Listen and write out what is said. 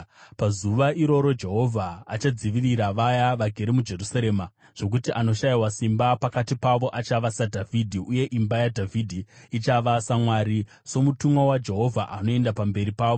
Pazuva iroro Jehovha achadzivirira vaya vagere muJerusarema, zvokuti anoshayiwa simba pakati pavo achava saDhavhidhi, uye imba yaDhavhidhi ichava saMwari, soMutumwa waJehovha anoenda pamberi pavo.